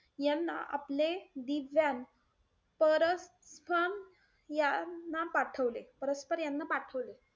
यांना आपले दिव्यान परस~ यांना, परस्पर यांना पाठवले.